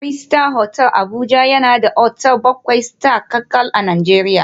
Fraser Hotel Abuja yana da otal bakwai Star kacal a Najeriya